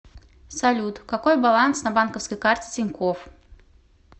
салют какой баланс на банковской карте тинькофф